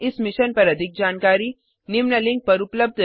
इस मिशन पर अधिक जानकारी निम्न लिंक पर उपलब्ध है